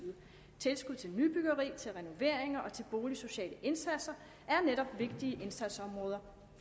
tilskud til nybyggeri til renoveringer og til boligsociale indsatser er netop vigtige indsatsområder